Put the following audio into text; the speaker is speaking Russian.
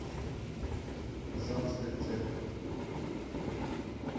казанская церковь